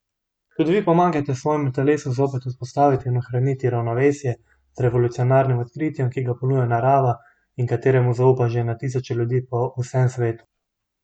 Tudi vi pomagajte svojemu telesu zopet vzpostaviti in ohraniti ravnovesje z revolucionarnim odkritjem, ki ga ponuja narava in kateremu zaupa že na tisoče ljudi po vsem svetu!